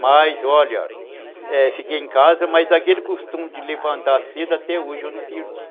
Mas, olha, é, fiquei em casa, mas aquele costume de levantar cedo até hoje eu não perdi.